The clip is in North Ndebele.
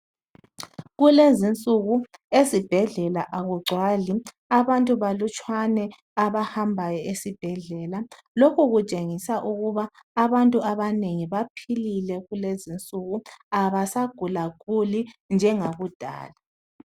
Kulezinsuku ezibhedlela akugcwali, abantu balutshwane abahambayo esibhedlela. Lokhu kutshengisa ukuba abantu abanengi baphilile kulezinsuku abasagulaguli njengakudala